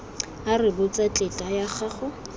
a rebotse tetla ya go